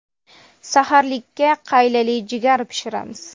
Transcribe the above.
Saharlikka qaylali jigar pishiramiz.